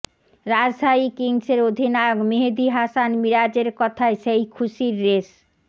রাজশাহী কিংসের অধিনায়ক মেহেদী হাসান মিরাজের কথায় সেই খুশির রেশ